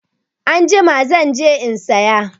Anjima zan je in saya.